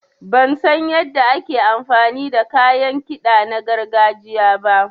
Ban san yanda ake amfani da kayan kiɗa na gargajiya ba.